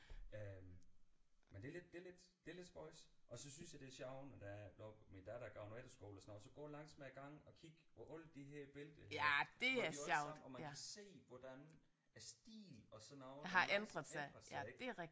Øh men det er lidt det er lidt det er lidt spøjst og så synes jeg det er sjovt når det er at oppe min datter går på efterskole og sådan noget så at gå langs med gangen og kigge på alle de her billeder de har dem alle sammen og man kan se hvordan stilen og sådan noget den ændrer sig ik